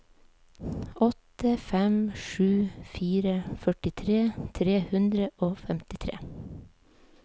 åtte fem sju fire førtitre tre hundre og femtitre